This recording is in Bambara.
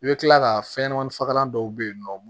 I bɛ tila ka fɛnɲɛnɛmaninfagalan dɔw bɛ yen nɔ